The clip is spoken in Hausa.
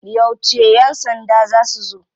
Yauce ya sanda za su zo?